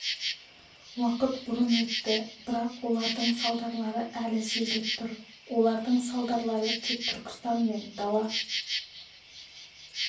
уақыт бұрын өтті бірақ олардың салдарлары әлі сезіліп тұр олардың салдарлары тек түркістан мен дала